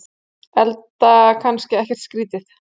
Enda kannski ekkert skrítið.